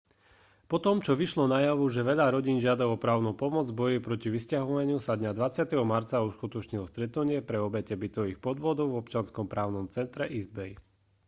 potom čo vyšlo najavo že veľa rodín žiada o právnu pomoc v boji proti vysťahovaniu sa dňa 20. marca uskutočnilo stretnutie pre obete bytových podvodov v občianskom právnom centre east bay